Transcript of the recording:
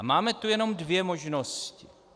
A máme tu jenom dvě možnosti.